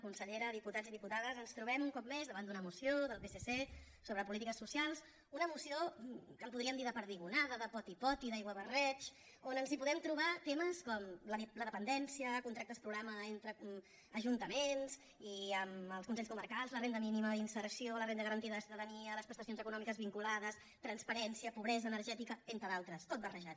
consellera diputats i diputades ens trobem un cop més davant d’una moció del psc sobre polítiques socials una moció que en podríem dir de perdigonada de potipoti d’aiguabarreig on ens hi podem trobar temes com la dependència contractes programa entre ajuntaments i amb els consells comarcals la renda mínima d’inserció la renda garantida de ciutadania les prestacions econòmiques vinculades transparència pobresa energètica entre d’altres tot barrejat